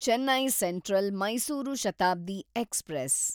Chennai central Mysuru Shatabdi express